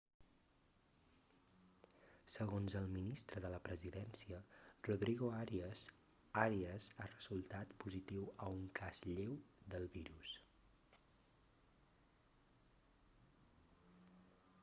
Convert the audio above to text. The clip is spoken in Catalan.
segons el ministre de la presidència rodrigo arias arias ha resultat positiu a un cas lleu del virus